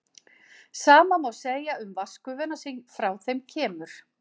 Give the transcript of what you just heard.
Sama má segja um vatnsgufuna sem frá þeim kemur.